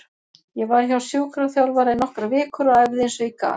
Ég var hjá sjúkraþjálfara í nokkrar vikur og æfði eins og ég gat.